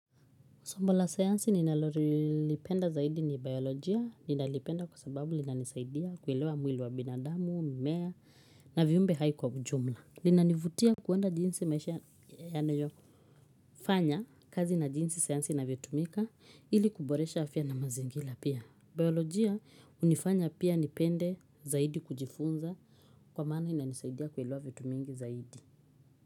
Somo la sayansi ninalorilipenda zaidi ni biolojia, ninalipenda kwa sababu linanisaidia kuelewa mwili wa binadamu, mimea, na viumbe hai kwa ujumla. Linanivutia kuenda jinsi maisha ya nayo fanya kazi na jinsi sayansi inavyotumika ili kuboresha afya na mazingila pia. Biolojia unifanya pia nipende zaidi kujifunza kwa maana inanisaidia kuilewa vitu mingi zaidi.